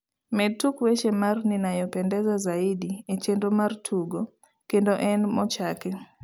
med tuk weche mar ninayopenda zaidi e chenro mar tugo, kende en mochaki